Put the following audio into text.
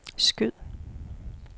skyd